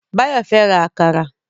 Báyọ̀ fẹ́ ra àkàrà